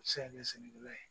U bɛ se ka kɛ sɛnɛkɛla ye